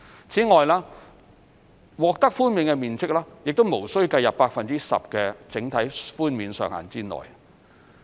此外，其獲豁免的面積亦無須計入 10% 整體寬免上限之內。